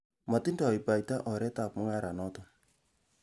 Motindoi baita oretab mung'aranoton.